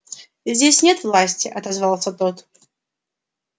здесь нет власти отозвался тот